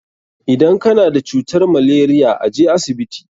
Idan ka na da cutar malaria, a je asibiti.